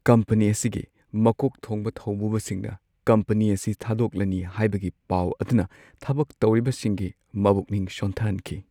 Company ꯑꯁꯤꯒꯤ ꯃꯀꯣꯛ ꯊꯣꯡꯕ ꯊꯧꯕꯨꯕꯁꯤꯡꯅ ꯀꯝꯄꯅꯤ ꯑꯁꯤ ꯊꯥꯗꯣꯛꯂꯅꯤ ꯍꯥꯏꯕꯒꯤ ꯄꯥꯎ ꯑꯗꯨꯅ ꯊꯕꯛ ꯇꯧꯔꯤꯕꯁꯤꯡꯒꯤ ꯃꯕꯨꯛꯅꯤꯡ ꯁꯣꯟꯊꯍꯟꯈꯤ ꯫